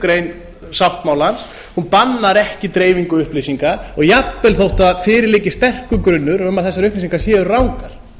grein sáttmálans bannar ekki dreifingu upplýsinga jafnvel þótt að fyrir liggi sterkur grunur um að þessar upplýsingar séu rangar